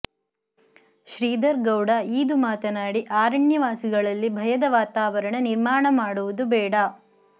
ಶ್ರೀಧರ್ ಗೌಡ ಈದು ಮಾತನಾಡಿ ಆರಣ್ಯವಾಸಿಗಳಲ್ಲಿ ಭಯದ ವಾತಾವರಣ ನಿರ್ಮಾಣ ಮಾಡುವುದು ಬೇಡ